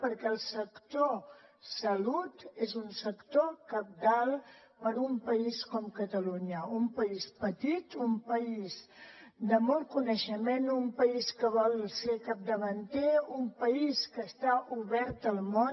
perquè el sector salut és un sector cabdal per a un país com catalunya un país petit un país de molt coneixement un país que vol ser capdavanter un país que està obert al món